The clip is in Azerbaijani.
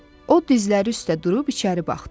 O dizləri üstə durub içəri baxdı.